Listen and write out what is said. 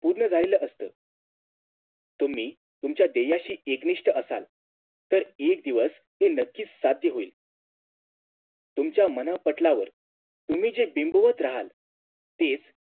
पूर्ण झालेल असत तुम्ही तुमच्या ध्येयाशी एकनिष्ठ असाल तर एक दिवस ते नक्कीच साध्य होईल तुमच्या मनःपटलावर तुम्ही जे बिंबवत रहाल तेच